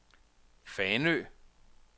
Fanø